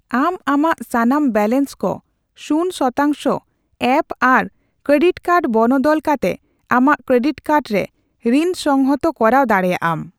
ᱟᱢ ᱟᱢᱟᱜ ᱥᱟᱱᱟᱢ ᱵᱮᱞᱮᱱᱥ ᱠᱚ ᱥᱩᱱ ᱥᱚᱛᱟᱝᱥᱚ ᱮ ᱹ ᱯᱹᱟᱨ ᱠᱮᱨᱮᱰᱤᱴ ᱠᱟᱨᱰᱨᱮ ᱵᱚᱱᱚᱫᱚᱞ ᱠᱟᱛᱮ ᱟᱢᱟᱜ ᱠᱮᱨᱮᱰᱤᱴ ᱠᱟᱨᱰ ᱨᱮ ᱨᱤᱱ ᱥᱚᱝᱦᱚᱛ ᱠᱚᱨᱟᱣ ᱫᱟᱲᱮᱭᱟᱢ ᱾